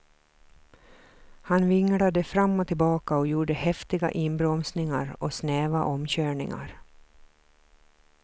Han vinglade fram och tillbaka och gjorde häftiga inbromsningar och snäva omkörningar.